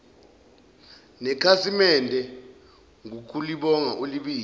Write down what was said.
nekhasimede ngokulibonga ulibize